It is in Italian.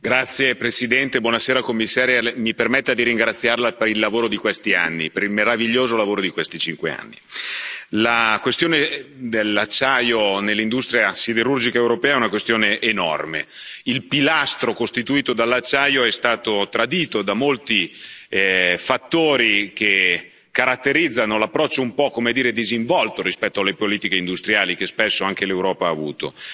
Signor Presidente, onorevoli colleghi, Commissaria, mi permetta di ringraziarla per il lavoro di questi anni, per il meraviglioso lavoro di questi cinque anni. La questione dell'acciaio nell'industria siderurgica europea è una questione enorme. Il pilastro costituito dall'acciaio è stato tradito da molti fattori che caratterizzano l'approccio un po', come dire, disinvolto rispetto alle politiche industriali che spesso anche l'Europa ha avuto.